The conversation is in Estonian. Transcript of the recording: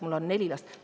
Mul on neli last.